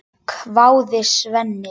hváði Svenni.